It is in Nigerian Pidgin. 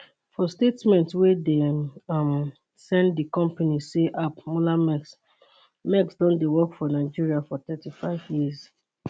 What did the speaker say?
for statement wey dem um send di company say ap mollermaersk maersk don dey work for nigeria for 35 years